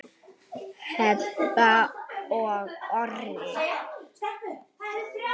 Heba og Orri.